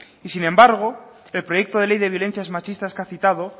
y sin embargo el proyecto de ley de violencias machistas que ha citado